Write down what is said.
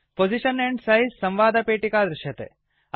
position and size संवादपेटिका दृश्यते